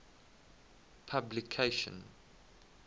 publication